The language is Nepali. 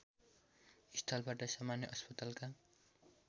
स्थलबाट सामान्य अस्पतालका